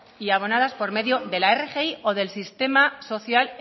y abonadas por medio de la rgi o del sistema social